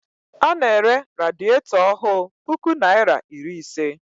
Ọ na-ere radietọ ọhụụ puku naịra iri ise.